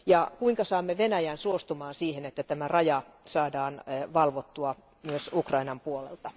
Ja kuinka saamme Venäjän suostumaan siihen, että tätä rajaa saadaan valvottua myös Ukrainan puolelta?